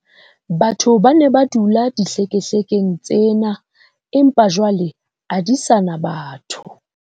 Batho ba ne ba dula dihlekehlekeng tsena, empa jwale a di sa na batho.